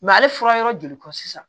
ale fura yɔrɔ joli kɔ sisan